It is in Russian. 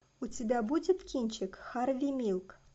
у тебя будет кинчик харви милк